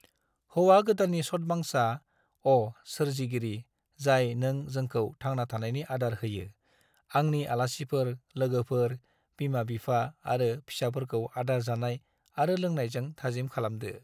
हौवा गोदाननि सतबांसा: अ, सोरजिगिरि, जाय नों जोंखौ थांना थानायनि आदार होयो, आंनि आलासिफोर, लोगोफोर, बिमा-बिफा आरो फिसाफोरखौ आदार जानाय आरो लोंनायजों थाजिम खालामदो।